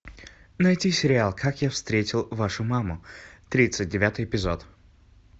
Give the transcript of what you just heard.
найти сериал как я встретил вашу маму тридцать девятый эпизод